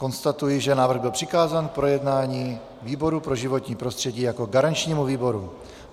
Konstatuji, že návrh byl přikázán k projednání výboru pro životní prostředí jako garančnímu výboru.